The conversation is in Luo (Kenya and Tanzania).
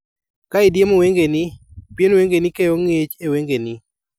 Ka idiemo wengeni, pien wengeni keyo ng'ich e wengeni.